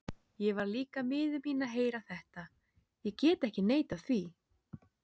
Ég varð líka miður mín að heyra þetta, ég get ekki neitað því.